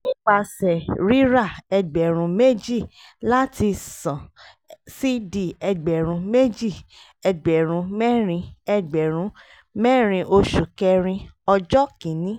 nípasẹ̀ rírà ẹgbẹ̀rún méjì láti ṣàn c/d ẹgbẹ̀rún méjì ẹgbẹ̀rún mẹ́rin ẹgbẹ̀rún mẹ́rin oṣù kẹrin ọjọ́ kìíní